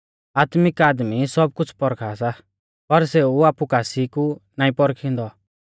आत्मिक आदमी सब कुछ़ परखा सा पर सेऊ आपु कासी कु नाईं पौरखिंदौ